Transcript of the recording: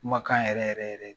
Kumakan yɛrɛ yɛrɛ yɛrɛ